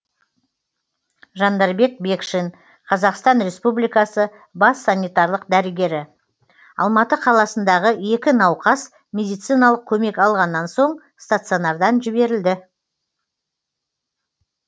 жандарбек бекшин қазақстан республикасы бас санитарлық дәрігері алматы қаласындағы екі науқас медициналық көмек алғаннан соң стационардан жіберілді